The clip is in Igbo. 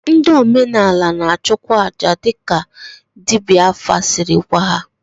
Ndị omenala na-achụkwa aja dịka dibịa afa siri gwa ha.